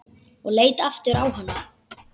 Ég leit aftur á hana.